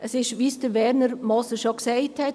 Es ist, wie es Werner Moser gesagt hat;